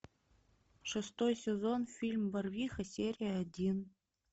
шестой сезон фильм барвиха серия один